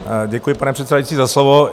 Děkuji, pane předsedající, za slovo.